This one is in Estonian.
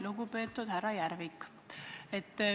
Lugupeetud härra Järvik!